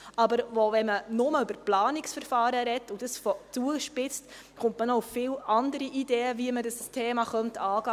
Aber wenn man nur über Planungsverfahren spricht und dies zuspitzt, kommt man noch auf viele andere Ideen, wie man das Thema angehen könnte.